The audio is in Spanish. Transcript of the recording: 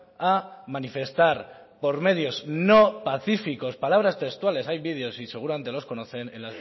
a manifestar por medios no pacíficos palabras textuales hay vídeos y seguramente los conocen en